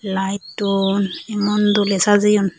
light don emon doley sajeyun.